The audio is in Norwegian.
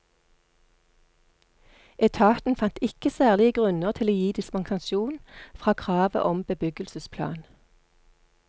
Etaten fant ikke særlige grunner til å gi dispensasjon fra kravet om bebyggelsesplan.